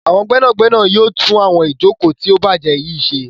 Àwọn gbénàgbénà yóò tún àwọn Ìjoko tí o bàjé yí ṣe.